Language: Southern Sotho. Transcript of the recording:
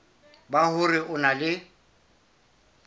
ba hore o na le